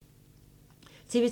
TV 2